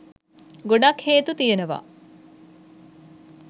ගොඩක් හේතු තියෙනවා.